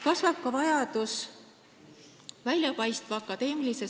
Kasvab ka vajadus väljapaistva akadeemilise ...